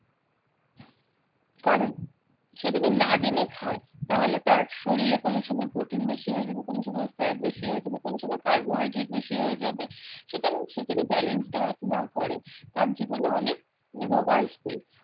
কারণ সে যদি না জেনে খায় তাহলে তার শরীরে কোন সময় protein বেশি হয়ে যাবে কোন সময় fat বেশি হয়ে যাবে কোন সময় carbohydrate বেশি হয়ে যাবে সুতরাং সে যদি balanced diet না করে তার জীবনে অনেক রোগ আসবে।